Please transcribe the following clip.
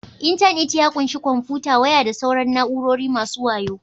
Intanit ya ƙunshi kwamfuta, waya da sauran na'urori masu wayo